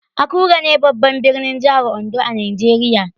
Akure ne babban birnin jihar Ondo a Najeriya.